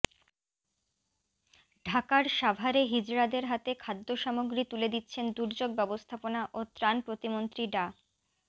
ঢাকার সাভারে হিজড়াদের হাতে খাদ্যসামগ্রী তুলে দিচ্ছেন দুর্যোগ ব্যবস্থাপনা ও ত্রাণ প্রতিমন্ত্রী ডা